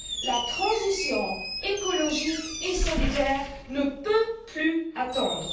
La transition écologique et solidaire ne peut plus attendre.